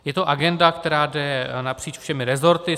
Je to agenda, která jde napříč všemi resorty.